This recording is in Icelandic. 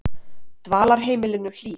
Dvalarheimilinu Hlíð